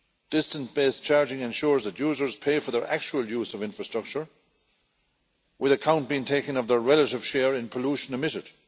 Distance based charging ensures that users pay for their actual use of infrastructure, with account being taken of the relative share in pollution emitted.